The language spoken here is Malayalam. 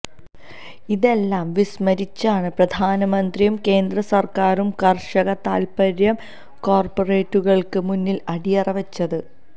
ഇതെല്ലാം വിസ്മരിച്ചാണ് പ്രധാനമന്ത്രിയും കേന്ദ്രസര്ക്കാരും കര്ഷക താല്പ്പര്യം കോര്പ്പറേറ്റുകള്ക്ക് മുന്നില് അടിയറവ് വെച്ചത്